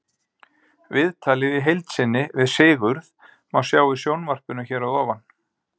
Viðtalið í heild sinni við Sigurð má sjá í sjónvarpinu hér að ofan.